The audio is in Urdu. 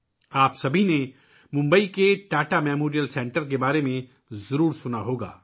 آپ سب نے ممبئی میں ٹاٹا میموریل سینٹر کے بارے میں سنا ہوگا